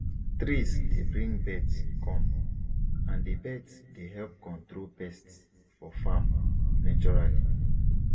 trees dey bring birds come and the birds dey help control pests for farm naturally